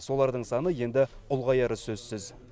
солардың саны енді ұлғаяры сөзсіз